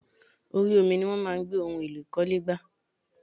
Orí omi ní wọ́n máa ń gbé ohun èlò ìkọ́lé gbà.